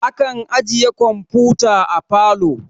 Akan ajiye kamfuta a parlor